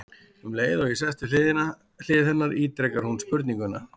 Um leið og ég sest við hlið hennar ítrekar hún spurninguna.